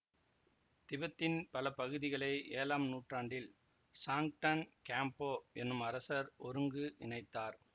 திபெத்தின் பல பகுதிகளை ஏழாம் நூற்றாண்டில் சாங்டன் கேம்போ எனும் அரசர் ஒருங்கு இணைத்தார்